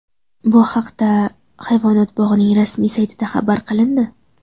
Bu haqda hayvonot bog‘ining rasmiy saytida xabar qilindi .